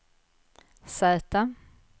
Z